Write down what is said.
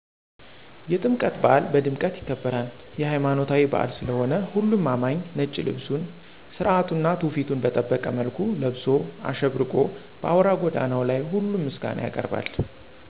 የጥምቀት በአል ቀድምቀት ይከበራል። የለይማኖታዊበአል ስለሆነሁሉም አማኚ ነጭ ልብሱን ስራቱና ትውፊቱን በጠበቀ መልኩ ለብሶ አሸብርቆ በአውራ ጎዳናው ላይ ሁሉም ምስጋና ያቀርባል።